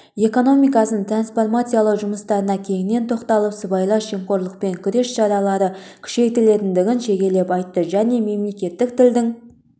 экономикасын трансформациялау жұмыстарына кеңінен тоқтап сыбайлас жемқорлықпен күрес шаралары күшейетіндігін шегелеп айтты және мемлекеттік тілдің